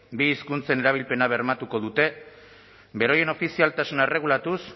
bi hizkuntzen erabilpena bermatuko dute beraien ofizialtasuna erregulatuz